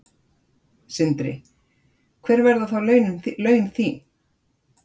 Sindri: Hver verða þá laun þín?